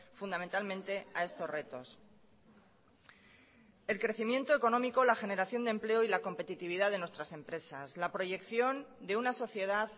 fundamentalmente a estos retos el crecimiento económico la generación de empleo y la competitividad de nuestras empresas la proyección de una sociedad